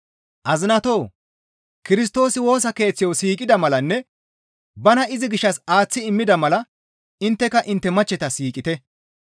Azinatoo! Kirstoosi Woosa Keeththayo siiqida malanne bana izi gishshas aaththi immida mala intteka intte machcheta siiqite.